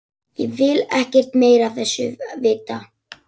Ég vil ekkert meira af þessu vita.